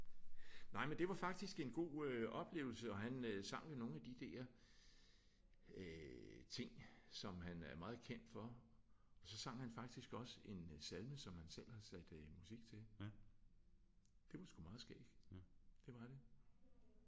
Nej men det var faktisk en god øh oplevelse og han sang jo nogle af de der øh ting som han er meget kendt for. Og så sang han faktisk også en salme som han selv har sat øh musik til. Det var sgu meget skægt. Det var det